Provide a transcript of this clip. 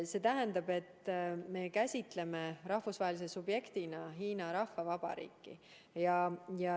See tähendab, et me käsitame rahvusvahelise subjektina Hiina Rahvavabariiki.